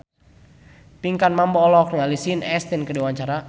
Pinkan Mambo olohok ningali Sean Astin keur diwawancara